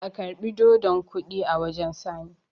a karbi dodon Kodi a wajen sani!